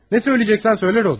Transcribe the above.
Nə deyəcəksənsə de, Rodiya.